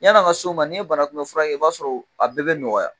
Yani a ka s' o ma, n'i ye banakunbɛnli fura kɛ , i b'a sɔrɔ a bɛɛ bɛ nɔgɔya.